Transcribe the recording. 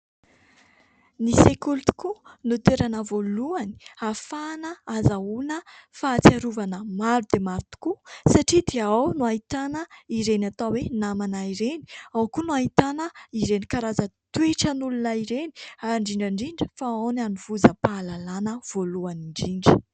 Ny sekoly tokoa no toerana voalohany ahafahana hahazoana fahatsiarovana maro dia maro tokoa satria dia ao no ahitana ireny atao hoe namana ireny ; ao koa no ahitana ireny karaza-toetran'olona ireny indrindra indrindra ; fa ao no hanovozam-pahalalana voalohany indrindra.